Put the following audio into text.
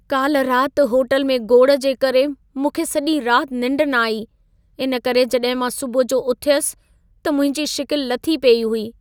काल्हि राति होटल में गोड़ु जे करे मूंखे सॼी राति निंड न आई। इन करे जॾहिं मां सुबुह जो उथियसि त मुंहिंजी शिकिलि लथी पेई हुई।